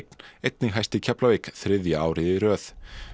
einnig hæst í Keflavík þriðja árið í röð